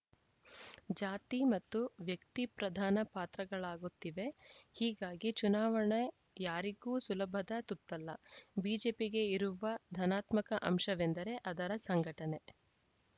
ಜಾತಿ ಮತ್ತು ವ್ಯಕ್ತಿ ಪ್ರಧಾನ ಪಾತ್ರಗಳಾಗುತ್ತಿವೆ ಹೀಗಾಗಿ ಚುನಾವಣೆ ಯಾರಿಗೂ ಸುಲಭದ ತುತ್ತಲ್ಲ ಬಿಜೆಪಿಗೆ ಇರುವ ಧನಾತ್ಮಕ ಅಂಶವೆಂದರೆ ಅದರ ಸಂಘಟನೆ